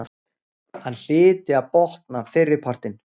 Hann hlyti að botna fyrripartinn.